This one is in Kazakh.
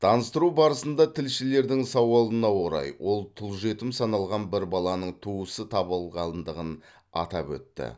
таныстыру барысында тілшілердің сауалына орай ол тұл жетім саналған бір баланың туысы табылғандығын атап өтті